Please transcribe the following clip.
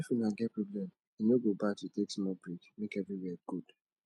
if una get problem e no go bad to take smal brake mek everiwia gud